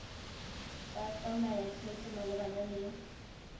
tla tsaya tshwetso malebana le